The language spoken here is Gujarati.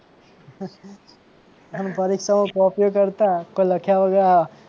પરીક્ષામાં કોપીઓ કરતાં કોઈ લખ્યા વગર